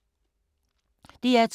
DR2